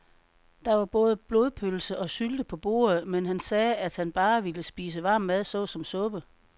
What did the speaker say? Der var både blodpølse og sylte på bordet, men han sagde, at han bare ville spise varm mad såsom suppe.